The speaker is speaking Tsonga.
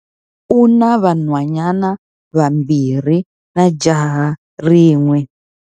U na vanhwanyana vambirhi na jaha rin'we.